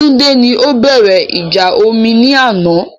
Túndé ni o bẹ̀rẹ̀ ìjà omi ní àná